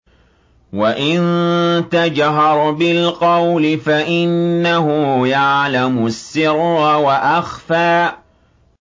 وَإِن تَجْهَرْ بِالْقَوْلِ فَإِنَّهُ يَعْلَمُ السِّرَّ وَأَخْفَى